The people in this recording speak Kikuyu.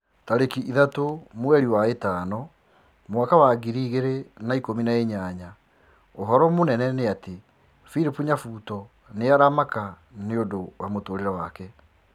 Tarĩki ithatũ mweri wa ĩtano mwaka wa ngiri igĩrĩ na ikũmi na inyanya ũhoro mũnene nĩ ati philip nyabuto nĩ aramaka nĩũndũ wa mũtũrĩre wake